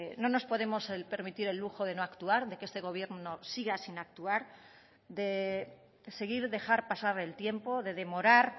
no nos podemos permitir el lujo de no actuar de que este gobierno siga sin actuar de seguir dejar pasar el tiempo de demorar